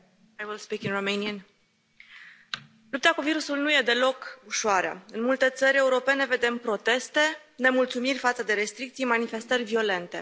Doamnă președintă, lupta cu virusul nu e deloc ușoară, în multe țări europene vedem proteste, nemulțumiri față de restricții, manifestări violente.